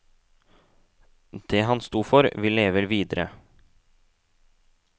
Det han sto for, vil leve videre.